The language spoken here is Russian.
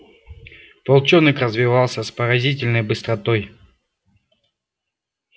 волчонок развивался с поразительной быстротой